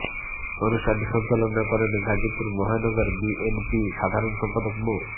অনুষ্ঠানটি সঞ্চালনা করেন গাজীপুর মহানগর বিএনপির সাধারণ সম্পাদক মো